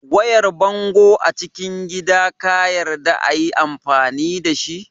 Wayar bango acikin gida kayarda ayi amfani dashi